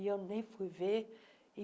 E eu nem fui ver.